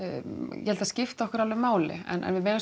ég held að það skipti okkur alveg máli en við megum